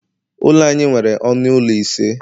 Ụlọ anyị nwere ọnụ ụlọ ise